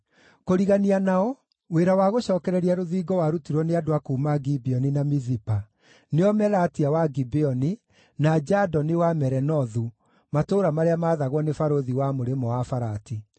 Kũrigania nao, wĩra wa gũcookereria rũthingo warutirwo nĩ andũ a kuuma Gibeoni na Mizipa, nĩo Melatia wa Gibeoni, na Jadoni wa Meronothu, matũũra marĩa maathagwo nĩ barũthi wa Mũrĩmo-wa-Farati.